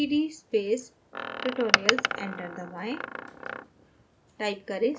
type करें cd space tutorials enter दबाएँ